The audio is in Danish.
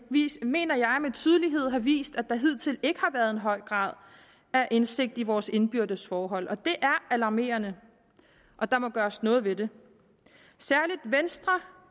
mener jeg med tydelighed har vist at der hidtil ikke har været en høj grad af indsigt i vores indbyrdes forhold og det er alarmerende der må gøres noget ved det særlig venstre